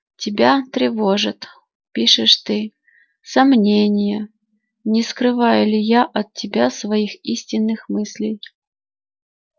тебя тревожат пишешь ты сомнения не скрываю ли я от тебя своих истинных мыслей